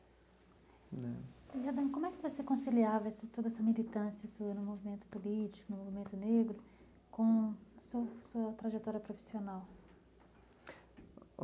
E, Adão, como é que você conciliava toda essa militância sua no movimento político, no movimento negro, com a sua sua trajetória profissional?